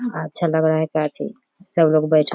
अच्छा लग रहा है काफी सब लोग बैठे --